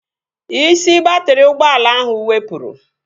Isi baatrị ụgbọala ahụ wepụrụ